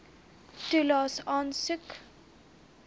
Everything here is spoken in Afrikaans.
toelaes aansoek